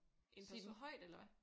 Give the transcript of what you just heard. Side dem højt eller hvad?